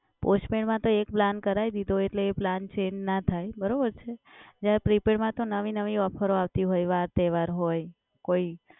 postpaid માં તો એ plan કરાવી દીધો એટલે એ plan change ના થાય, બરોબર છે? જ્યારે prepaid માં તો નવી નવી ઓફરો આવતી હોય. વાર તહેવાર હોય કોઈ